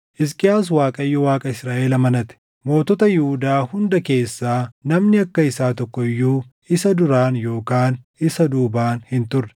Hisqiyaas Waaqayyo Waaqa Israaʼel amanate. Mootota Yihuudaa hunda keessaa namni akka isaa tokko iyyuu isa duraan yookaan isa duubaan hin turre.